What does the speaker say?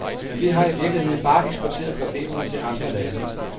Men vi har i virkeligheden bare eksporteret problemerne til andre lande.